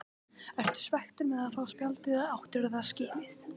Ertu svekktur með að fá spjaldið eða áttirðu það skilið?